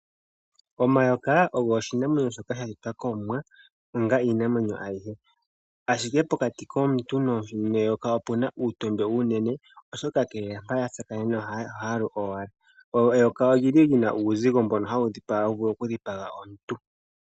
Omayokaa ogo oshinamwenyo shoka shashitwa komuwa, onga iinamwenyo ayihe. Ashike pokati komuntu neyoka opuna uutondwe uunene, oshoka nkee mpa yatsakanene ohaalu owala. Eyoka olyili lyina uuzigo mbono hawudhipaga mbono hawuvulu okudhipaga omuntu.